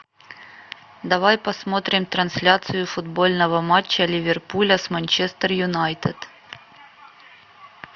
давай посмотрим трансляцию футбольного матча ливерпуля с манчестер юнайтед